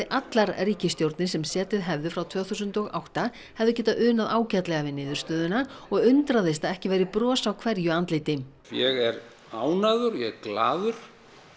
allar ríkisstjórnir sem setið hefðu frá tvö þúsund og átta hefðu getað unað ágætlega við niðurstöðuna og undraðist að ekki væri bros á hverju andliti ég er ánægður og ég er glaður